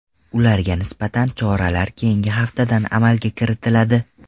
Ularga nisbatan choralar keyingi haftadan amalga kiritiladi.